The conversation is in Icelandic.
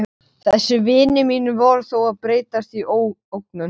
Þessir vinir mínir voru þó að breytast í ógnun.